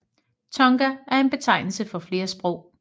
Tonga er en betegnelse for flere sprog